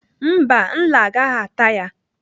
Mba, nla agaghị ata ya.